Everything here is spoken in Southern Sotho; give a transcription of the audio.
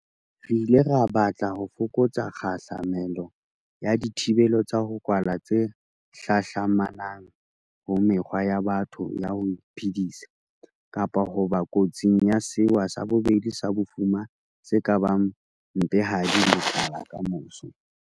Re ile ra batla ho fokotsa kgahla melo ya dithibelo tsa ho kwala tse hlahlamanang ho mekgwa ya batho ya ho iphedisa, kapa ho ba kotsing ya sewa sa bobedi sa bofuma se ka bang mpehadi le tlala kamoso.